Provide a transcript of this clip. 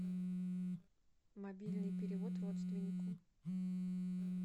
мобильный перевод родственнику